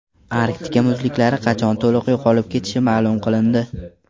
Arktika muzliklari qachon to‘liq yo‘qolib ketishi ma’lum qilindi.